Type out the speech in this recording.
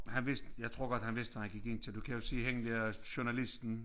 Han vidste jeg tror godt han vidste hvad han gik ind til du kan jo se hende dér journalisten